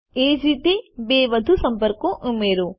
એ જ રીતે બે વધુ સંપર્કો ઉમેરો